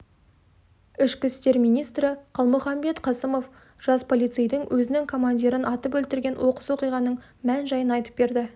ішкі істер министрі қалмұханбет қасымов жас полицейдің өзінің командирін атып өлтірген оқыс оқиғаның мән-жайын айтып берді